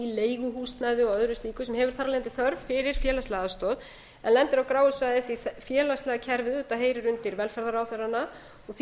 leiguhúsnæði og öðru slíku sem hefur þar af leiðandi þörf fyrir félagslega aðstoð en lendir á gráu svæði því félagslega kerfið heyrir undir velferðarráðherrana því